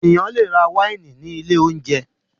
Ènìyàn le rà wáìnì ní ilé-oúnjẹ.